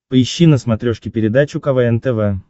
поищи на смотрешке передачу квн тв